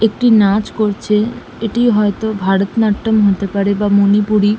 একটি নাচ করছে এটি হয়তো ভারত নাট্যম হতে পারে বা মনিপুরী --